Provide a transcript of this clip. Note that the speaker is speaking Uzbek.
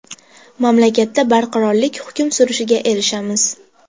Mamlakatda barqarorlik hukm surishiga erishamiz.